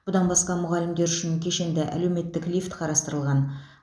бұдан басқа мұғалімдер үшін кешенді әлеуметтік лифт қарастырылған